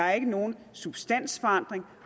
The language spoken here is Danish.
er nogen substansforandring